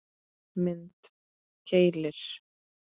Mynd: Keilir